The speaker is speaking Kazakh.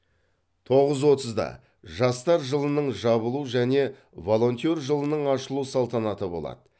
тоғыз отызда жастар жылының жабылу және волонтер жылының ашылу салтанаты болады